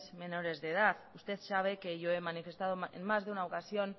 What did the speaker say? menores de edad usted sabe que yo he manifestado en más de una ocasión